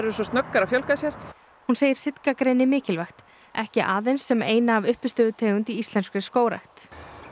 svo snöggar að fjölga sér hún segir mikilvægt ekki aðeins sem eina af í íslenskri skógrækt